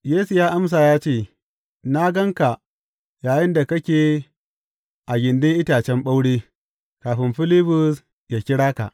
Yesu ya amsa ya ce, Na gan ka yayinda kake a gindin itacen ɓaure, kafin Filibus yă kira ka.